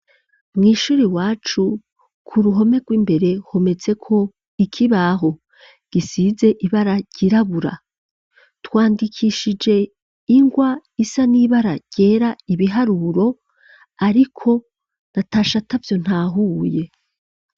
Mw'ishuri iwacu, k'uruhome rw'imbere, hometseko ikibaho gisize ibara ryirabura. Twandikishije ingwa isa n'ibara ryera ibiharuro, ariko natashe atavyo ntahuye.